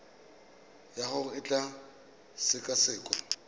ya gago e tla sekasekwa